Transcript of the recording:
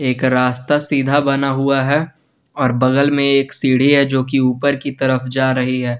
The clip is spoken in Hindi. एक रास्ता सीधा बना हुआ है और बगल में एक सीडी है जो कि ऊपर की तरफ जा रही है।